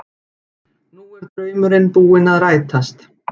Nú er draumurinn búinn að rætast